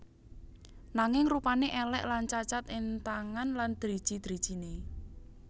Nanging rupané èlèk lan cacat ing tangan lan driji drijiné